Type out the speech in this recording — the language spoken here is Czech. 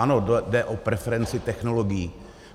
Ano, jde o preferenci technologií.